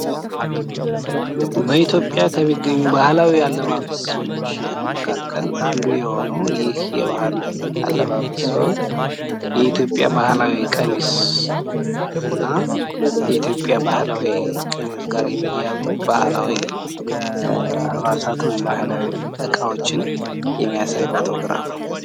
በኢትዮጵያ ከሚገኙ ባህላዊ አለባበሶች መካከል አንዱ ሲሆን፤ የኢትዮጵያ ቀሚስ እና ከቀሚሱ ጋር አብረው የሚሄዱ እቃወችን የሚያሳይ ነው።